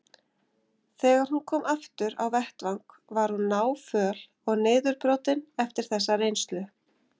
Þegar hún kom aftur á vettvang var hún náföl og niðurbrotin eftir þessa reynslu.